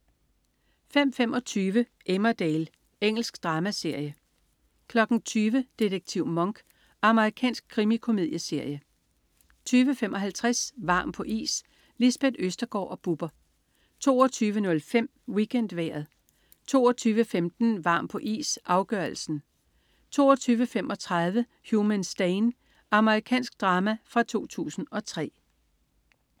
05.25 Emmerdale. Engelsk dramaserie 20.00 Detektiv Monk. Amerikansk krimikomedieserie 20.55 Varm på is. Lisbeth Østergaard og Bubber 22.05 WeekendVejret 22.15 Varm på is, afgørelsen 22.35 Human Stain. Amerikansk drama fra 2003